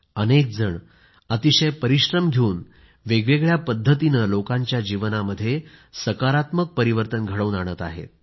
अनेकजण अतिशय परिश्रम घेऊन वेगवेगळ्या पद्धतीने लोकांच्या जीवनामध्ये सकारात्मक परिवर्तन घडवून आणत आहेत